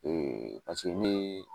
Ee paseke ni